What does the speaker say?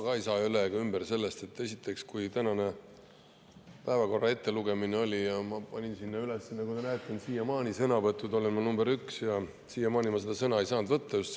Ega ma ei saa ka üle ega ümber esiteks sellest, et kui oli tänase päevakorra ettelugemine, siis ma panin sinna üles oma nime – nagu te näete, ma olen sõnavõttude all nr 1 –, aga siiamaani ma ei ole saanud sõna võtta.